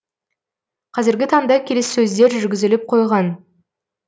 қазіргі таңда келіссөздер жүргізіліп қойған